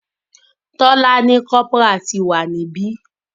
Tola ní Corporal tí wá ní ibí.